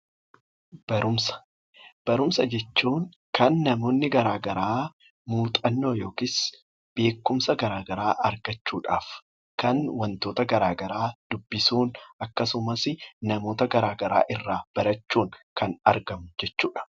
Barumsa jechuun kan namoonni garagaraa muuxannoo yookiin beekkumsa garagaraa argachuudhaaf kan namoonni kitaabota garagaraa akkasumas nama irraa barachuudhan kan argamu jechuudha.